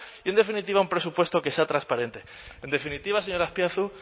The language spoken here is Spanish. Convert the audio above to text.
y en definitiva un presupuesto que sea transparente en definitiva señor azpiazu